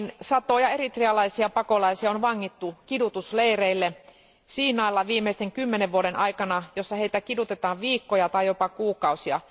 Satoja eritrealaisia pakolaisia on vangittu kidutusleireille Siinailla viimeisten kymmenen vuoden aikana, jossa heitä kidutetaan viikkoja tai jopa kuukausia.